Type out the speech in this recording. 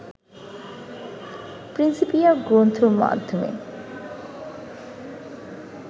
Principia গ্রন্থের মাধ্যমে